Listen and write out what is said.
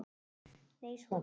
Nei, svaraði hann.